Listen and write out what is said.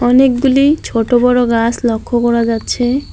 অনেকগুলি ছোট বড় গাস লক্ষ্য করা যাচ্ছে।